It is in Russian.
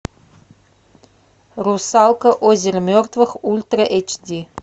русалка озеро мертвых ультра эйч ди